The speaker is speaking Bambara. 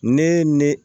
Ne ne